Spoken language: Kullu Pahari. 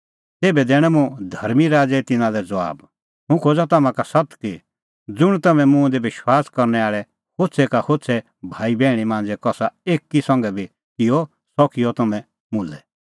तेभै दैणअ मुंह धर्मीं राज़ै तिन्नां लै ज़बाब हुंह खोज़ा तम्हां का सत्त कि ज़ुंण तम्हैं मुंह दी विश्वास करनै आल़ै होछ़ै का होछ़ै भाईबैहणी मांझ़ै कसा एकी संघै बी किअ सह किअ तम्हैं मुल्है